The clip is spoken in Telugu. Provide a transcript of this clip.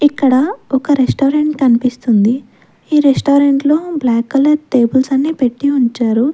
ఇక్కడ ఒక రెస్టారెంట్ కనిపిస్తుంది ఈ రెస్టారెంట్ లో బ్లాక్ కలర్ టేబుల్స్ అన్ని పెట్టి ఉంచారు.